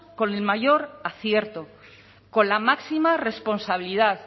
con el mayor acierto con la máxima responsabilidad